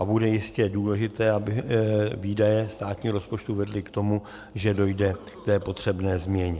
A bude jistě důležité, aby výdaje státního rozpočtu vedly k tomu, že dojde k té potřebné změně.